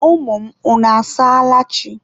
Ụmụ m, unu asaala chi?